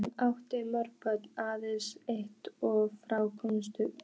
Hann átti mörg börn en aðeins fá þeirra komust upp.